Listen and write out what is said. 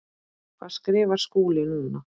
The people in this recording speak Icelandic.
Hvað skrifar Skúli núna?